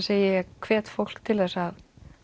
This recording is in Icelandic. hvet ég fólk til þess að